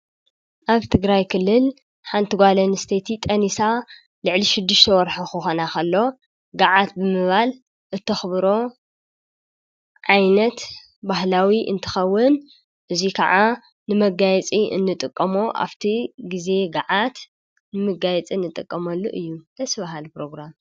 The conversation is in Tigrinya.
ኣብቲ ትግራይ ክልል ሓንቲ ጓለን ስተቲ ጠኒሳ ልዕሊሽዱሽተወርኁ ኾኾናኸሎ ገዓት ብምባል እተኽብሮ ዓይነት ባሕላዊ እንትኸውን እዙይ ከዓ ንመጋየጺ እንጥቀሞ ኣብቲ ጊዜ ገዓት ንምጋይጺ እንጠቀሞሉ እዩ ዝዝዘሐሉ ፕሮግራም።